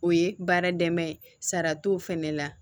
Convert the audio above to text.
O ye baara dɛmɛ ye sara t'o fɛnɛ la